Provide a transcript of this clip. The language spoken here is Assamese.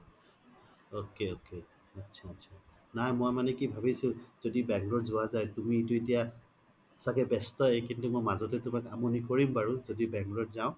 ok ok আত্চা আত্চা মই মানে কি ভাবিছো য্দি bangalore যোৱা যাই তুমি তো এতিয়া চাগে বেস্তই কিন্তু মই মাজতে তুমাক আমনি কৰিম বাৰু য্দি bangalore যাও